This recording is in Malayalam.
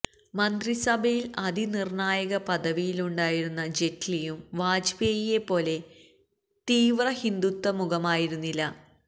മന്ത്രിസഭയിൽ അതിനിർണ്ണായക പദവിയിലുണ്ടായിരുന്ന ജെയ്റ്റ്ലിയും വാജ്പേയിയെ പോലെ തീവ്ര ഹിന്ദുത്വ മുഖമായിരുന്നില്ല